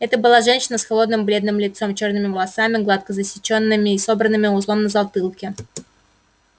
это была женщина с холодным бледным лицом чёрными волосами гладко зачёсанными и собранными узлом на затылке